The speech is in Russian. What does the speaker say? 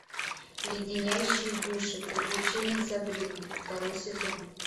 леденящие душу приключения сабрины второй сезон